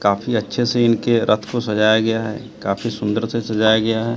काफी अच्छे से इनके रथ को सजाया गया है काफी सुंदर से सजाया गया है।